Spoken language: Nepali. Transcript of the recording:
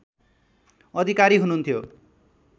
अधिकारी हुनुहुन्थ्यो